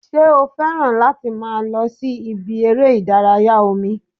Ṣé o fẹ́ràn láti máa lọ sí ibi eré ìdárayá omi?